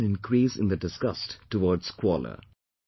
There has been an increase in the disgust towards squalor